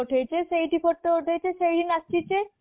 ସେଇଠି photo ଉଠେଇଛେ ସେଇଠି ନାଚିଚେ